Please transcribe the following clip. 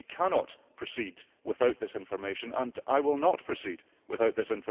We cannot proceed without this information and I will not proceed without it.